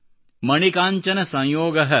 ಮಣಿ ಕಾಂಚನ ಸಂಯೋಗಃ